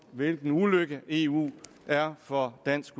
hvilken ulykke eu er for dansk